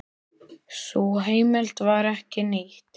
Sú heimild var ekki nýtt.